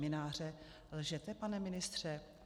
Mynáře: lžete, pane ministře?